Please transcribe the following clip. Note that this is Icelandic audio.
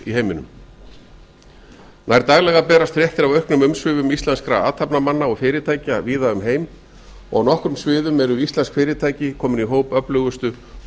heiminum nær daglega berast fréttir af auknum umsvifum íslenskra athafnamanna og fyrirtækja víða um heim og á nokkrum auðum eru iselnsk fyrirtæki komin í hóp öflugustu og